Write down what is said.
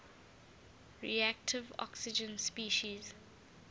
reactive oxygen species